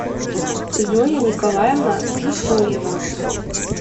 зоя николаевна джусоева